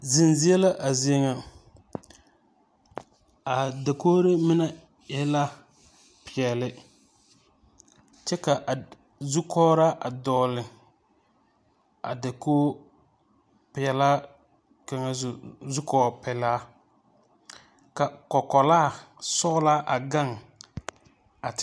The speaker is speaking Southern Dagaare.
Zenzie la a zie ŋa. A dakogoro mine e la peԑle, kyԑ ka a zukͻgeraa a dͻgele a dakogoo peԑlaa kaŋa zu zukͻͻpelaa ka kͻkͻlaa sͻgelaa a gaŋ a.